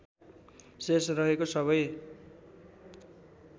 शेष रहेको सबै